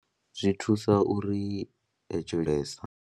Zwi thusa uri .